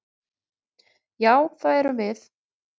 Já, það erum við.